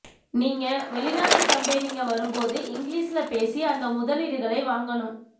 நீங்க வெளிநாட்டு கம்பெனிங்க வரும்போது இங்கிலீஷ்ல பேசி அந்த முதலீடுகளை வாங்கனும்